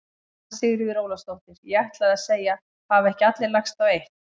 Anna Sigríður Ólafsdóttir: Ég ætlaði að segja: Hafa ekki allir lagst á eitt?